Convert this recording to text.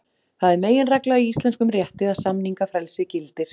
Það er meginregla í íslenskum rétti að samningafrelsi gildir.